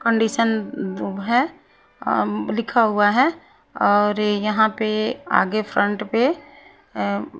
condition है um लिखा हुआ है और यहां पे आगे फ्रंट पे अं --